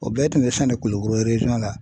O bɛɛ tun bɛ sɛnɛ Kulukoro la.